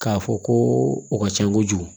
K'a fɔ ko o ka ca kojugu